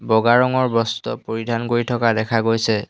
বগা ৰঙৰ বস্ত্ৰ পৰিধান কৰি থকা দেখা গৈছে।